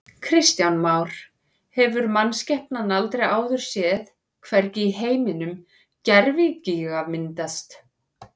Kristján Már: Hefur mannskepnan aldrei áður séð, hvergi í heiminum, gervigíga myndast?